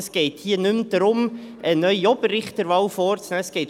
Es geht also hier nicht mehr darum, eine neue Oberrichterwahl vorzunehmen.